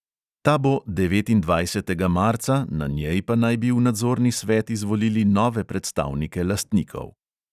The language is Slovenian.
Ta bo devetindvajsetega marca, na njej pa naj bi v nadzorni svet izvolili nove predstavnike lastnikov.